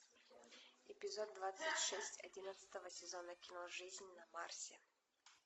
эпизод двадцать шесть одиннадцатого сезона кино жизнь на марсе